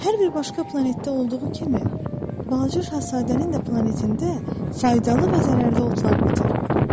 Hər bir başqa planetdə olduğu kimi Balaca Şahzadənin də planetində faydalı və zərərli otlar bitir.